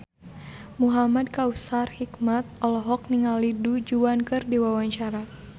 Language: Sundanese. Muhamad Kautsar Hikmat olohok ningali Du Juan keur diwawancara